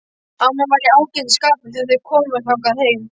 Amman var í ágætis skapi þegar þeir komu þangað heim.